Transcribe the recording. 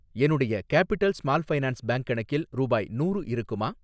என்னுடைய capital small finance bank கணக்கில் ரூபாய் நூறு இருக்குமா?